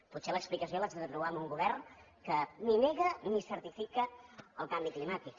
potser l’explicació l’haig de trobar en un govern que ni nega ni certifica el canvi climàtic